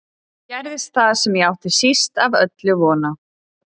Þá gerðist það sem ég átti síst af öllu von á.